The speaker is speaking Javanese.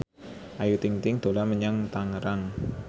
Ayu Ting ting dolan menyang Tangerang